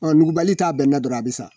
Nugubali t'a bɛnna dɔrɔnw a bɛ sa.